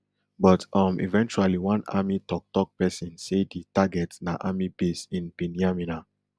but um eventually one army toktok pesin say di target na army base in binyamina